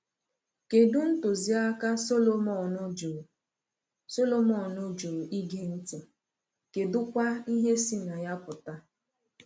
Kedụ ntụziaka Solomon jụrụ Solomon jụrụ ịge ntị, kedụkwa ihe si na ya pụta?